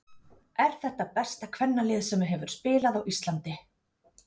Er þetta besta kvennalið sem hefur spilað á Íslandi?